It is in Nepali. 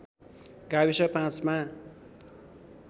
गाविस ५ मा